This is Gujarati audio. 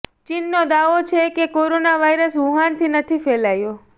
ચીનનો દાવો છે કે કોરોના વાયરસ વુહાનથી નથી ફેલાયો